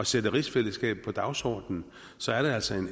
sætte rigsfællesskabet på dagsordenen så er det altså